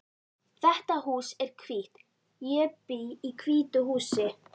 Þetta hús er hvítt. Ég bý í hvítu húsi.